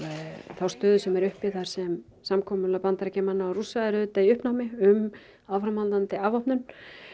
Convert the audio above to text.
þá stöðu sem er uppi þar sem samkomulag Bandaríkjamanna og Rússa er auðvitað í uppnámi um áframhaldandi afvopnun